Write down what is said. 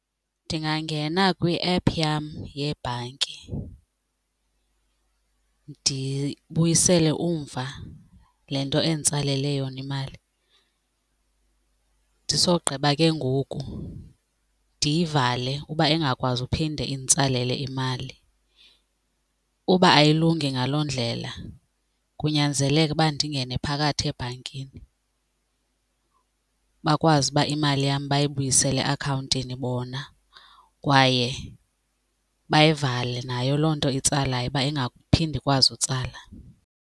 Ndingangena kwi-app yam yebhanki ndibuyisele umva le nto enditsalele yona imali ndisogqiba ke ngoku ndiyivale uba ingakwazi uphinde inditsalele imali. Uba ayilungi ngaloo ndlela kunyanzeleka ukuba ndingene phakathi ebhankini bakwazi uba imali yam bayibuyisele eakhawuntini bona kwaye bayivale nayo loo nto itsalayo uba ingaphinde ikwazi utsala.